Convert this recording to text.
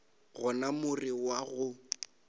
gona more wo wa go